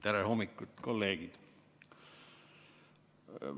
Tere hommikust, kolleegid!